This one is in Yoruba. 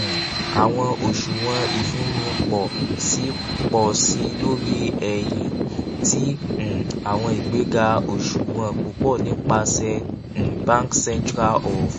um awọn oṣuwọn ifunni pọ si pọ si lori ẹhin ti um awọn igbega oṣuwọn pupọ nipasẹ um bank central of